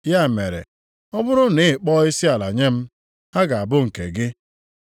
Ya mere, ọ bụrụ na ị kpọọ isiala nye m, ha ga-abụ nke gị.”